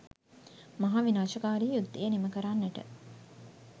මහා විනාශකාරි යුද්ධය නිම කරන්නට